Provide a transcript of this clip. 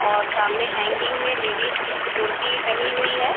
और सामने हैंगिंग में लेडीज कुर्ती टंगी हुई है।